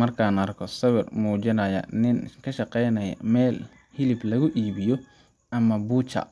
Marka aan arko sawirkan oo muujinaya nin ka shaqeynaya meel hilib lagu iibiyo ama butcher